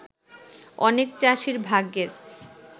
অনেক চাষীর ভাগ্যের